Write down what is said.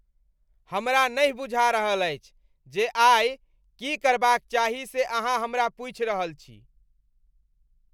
हमरा नहि बुझा रहल अछि जे आई की करबाक चाही से अहाँ हमरा पूछि रहल छी!